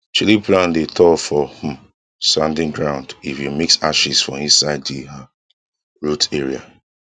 chili plant dey tall for um sandy ground if you mix ashes for inside de um root area